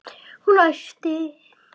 Og hún æpti.